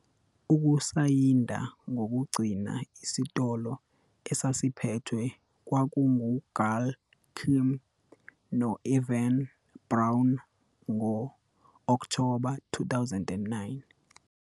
Ukusayinda kokugcina isitolo esasiphethwe kwakunguGail Kim no- Evan Bourne ngo-Okthoba 2009.